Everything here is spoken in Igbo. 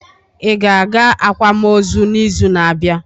Ị ga-aga akwam ozu n'izu na-abịa?